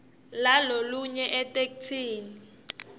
lalolunye lulwimi etheksthini